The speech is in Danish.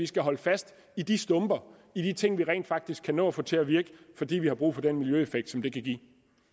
skal holde fast i de stumper i de ting vi rent faktisk kan nå at få til at virke fordi vi har brug for den miljøeffekt som det kan give